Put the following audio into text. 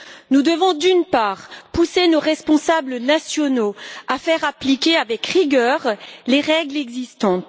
Nous devons, d'une part, pousser nos responsables nationaux à faire appliquer avec rigueur les règles existantes.